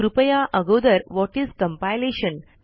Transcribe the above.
कृपया अगोदर what is compilation